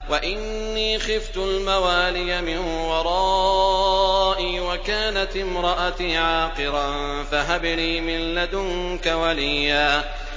وَإِنِّي خِفْتُ الْمَوَالِيَ مِن وَرَائِي وَكَانَتِ امْرَأَتِي عَاقِرًا فَهَبْ لِي مِن لَّدُنكَ وَلِيًّا